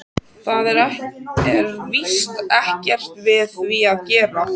Það er víst ekkert við því að gera.